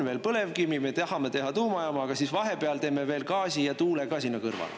Meil on põlevkivi, me tahame teha tuumajaama, aga siis vahepeal teeme veel gaasi ja tuule ka sinna kõrvale.